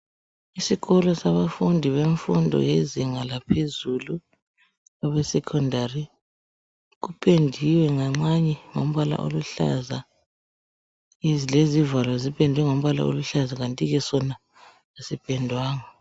Isikolo sabafundi bemfundo yezinga laphezulu abe secondary kupendiwe nganxanye ngombala oluhlaza lezivalo zipendwe ngombala oluhlaza kanti ke sona asipendwanga .